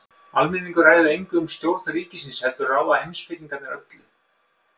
Almenningur ræður engu um stjórn ríkisins heldur ráða heimspekingarnir öllu.